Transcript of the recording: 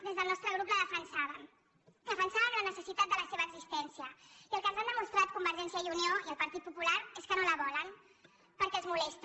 des del nostre grup la defensàvem defensàvem la necessitat de la seva existència i el que ens han demostrat convergència i unió i el partit popular és que no la volen perquè els molesta